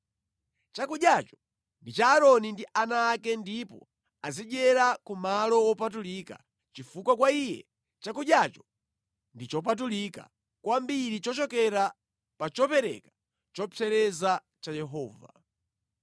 Chakudyacho ndi cha Aaroni ndi ana ake ndipo azidyera ku malo wopatulika chifukwa kwa iye chakudyacho ndi chopatulika kwambiri chochokera pa chopereka chopsereza cha Yehova.”